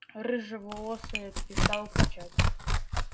рыжеволосая перестала кричать